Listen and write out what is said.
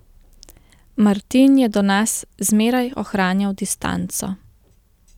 Martin je do nas zmeraj ohranjal distanco.